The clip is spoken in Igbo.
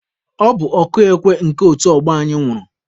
Ọ bụ ọkụ ekwe nke otu ọgbọ anyị nwụrụ.